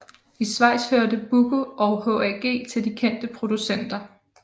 I Schweiz hørte Buco og HAG til de kendte producenter